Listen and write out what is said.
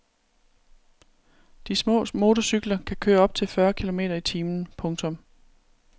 De små motorcykler kan køre op til fyrre kilometer i timen. punktum